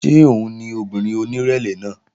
Ṣé òun ni obìnrin onírẹ̀lẹ̀ náà?